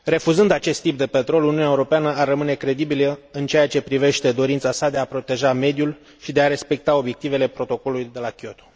Refuzând acest tip de petrol, Uniunea Europeană ar rămâne credibilă în ceea ce privește dorința sa de a proteja mediul și de a respecta obiectivele Protocolului de la Kyoto.